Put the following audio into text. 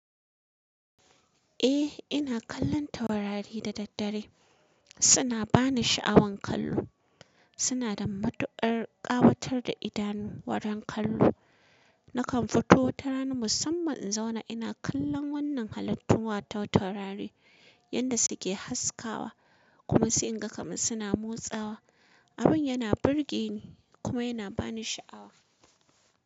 Eh, ina kallon taurari da daddare. Suna bani sha'awan kallo. Suna da matuƙar ƙawatar da idanu wurin kallo. Nakan fito tara ni musamman in zauna ina kallon wannan halattun taurari yadda suke haskawa kuma sai in ga kamar suna motsawa. Abun yana burge ni kuma yana bani sha'awa.